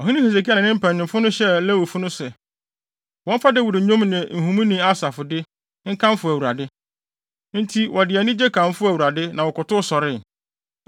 Ɔhene Hesekia ne ne mpanyimfo hyɛɛ Lewifo no sɛ, wɔmfa Dawid nnwom ne nhumuni Asaf de, nkamfo Awurade. Enti, wɔde anigye kamfoo Awurade, na wɔkotow sɔree.